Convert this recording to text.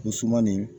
Gosumanin